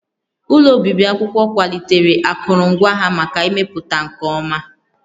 Ụlọ obibi akwụkwọ kwalitere akụrụngwa ha maka mmepụta nke ọma